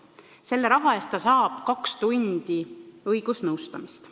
Selle raha eest saab kaks tundi õigusnõustamist.